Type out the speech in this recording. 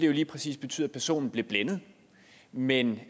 jo lige præcis betyde at personen blev blindet men